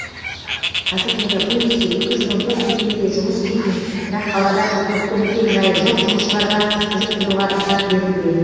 қазір мегаполисте екі жүз он төрт мекемеде жұмыс істейтін бірақ қалада тұрғылықты мекен жайы жоқ жұмысшыларға жүріп тұруға рұқсат берілген